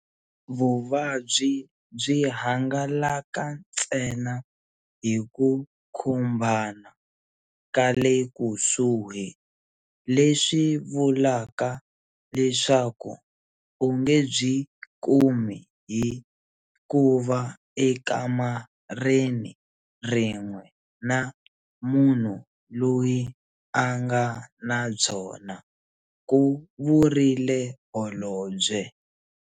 Vuvabyi byi hangalaka ntsena hi ku khumbana ka le kusuhi, leswi vulaka leswaku u nge byi kumi hi kuva ekamareni rin'we na munhu loyi a nga na byona, ku vurile Holobye.